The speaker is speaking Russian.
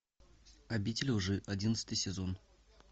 обитель лжи одиннадцатый сезон